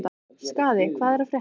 Skaði, hvað er að frétta?